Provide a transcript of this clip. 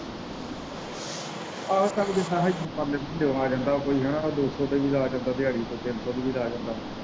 ਆਹੋ ਚੱਲ ਜਿੱਦਾਂ ਵੀ ਆ ਆ ਜਾਂਦਾ ਵਾ ਕੋਈ ਹੈਨਾ ਦੋ ਸੋ ਤੇ ਵੀ ਲਾ ਜਾਂਦਾ ਦਿਹਾੜੀ ਕੋਈ ਤਿੰਨ ਸੋ ਤੇ ਵੀ ਲਾ ਜਾਂਦਾ।